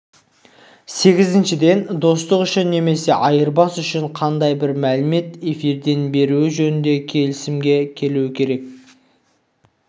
сегізіншіден достық үшін немесе айырбас үшін қандай да бір мәліметті эфирден бермеуі жөнінде келісімге келмеуі керек